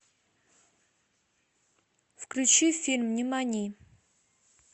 включи фильм нимани